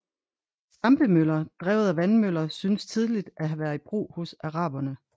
Stampemøller drevet af vandmøller synes tidligt at have være i brug hos araberne